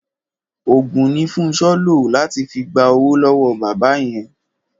Òògùn ni Fúnṣọ́ lò láti fi gba owó lọ́wọ́ bàbá yẹn.